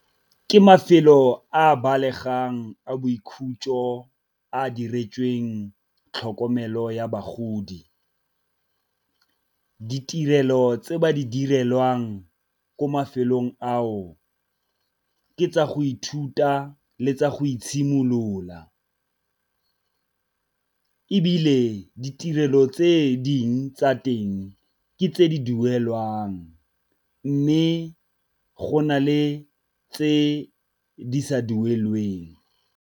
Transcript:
Ke mafelo a balegang a boikhutso a diretsweng tlhokomelo ya bagodi. Ditirelo tse ba di direlwang ko mafelong ao ke tsa go ithuta le tsa go itshimolola, ebile ditirelo tse dingwe tsa teng ke tse di duelwang mme go na le tse di sa duelweng.